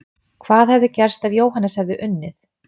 Hvað hefði gerst ef Jóhannes hefði unnið?!